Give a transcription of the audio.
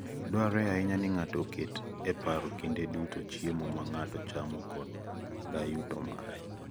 Dwarore ahinya ni ng'ato oket e paro kinde duto chiemo ma ng'ato chamo koda yuto mare.